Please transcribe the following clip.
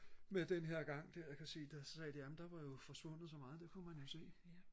med den her gang der kan man sige der sagde de amen der var jo forsvundet så meget det kunne man jo se